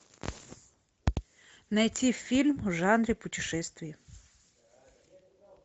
найти фильм в жанре путешествий